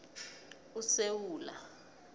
usewula